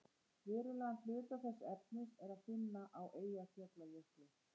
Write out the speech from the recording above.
verulegan hluta þess efnis er að finna á eyjafjallajökli